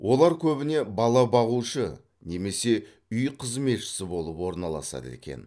олар көбіне бала бағушы немесе үй қызметшісі болып орналасады екен